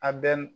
A bɛ n